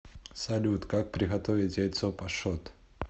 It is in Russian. салют как приготовить яйцо пашот